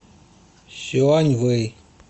сюаньвэй